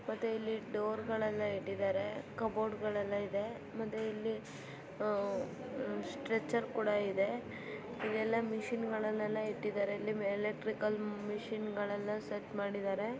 ಡೋರ್ಗಳೆಲ್ಲ ಇಟ್ಟಿದ್ದಾರೆ ಕಬೊಡ್ಗಳೆಲ್ಲ ಇದೆ ಮತ್ತೆ ಇಲ್ಲಿ ಉ ಸ್ಟ್ರೆಚರ್ ಕೂಡ ಇದೆ ಎಲ್ಲ ಮೆಷಿನ್ ಗಳೆಲ್ಲ ಇಟ್ಟಿದರೆ ಎಲೆಕ್ಟ್ರಿಕಲ್ ಮೆಷಿನ್ ಎಲ್ಲ ಸೆಟ್ ಮಾಡಿದರೆ.